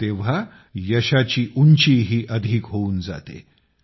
तेव्हा तेव्हा यशाची उंचीही अधिक होऊन जाते